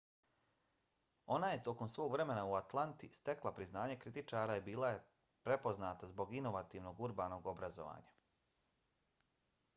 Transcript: ona je tokom svog vremena u atlanti stekla priznanje kritičara i bila je prepoznata zbog inovativnog urbanog obrazovanja